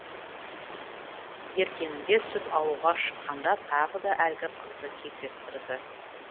ертеңінде сүт алуға шыққанда тағы да әлгі қызды кездестірді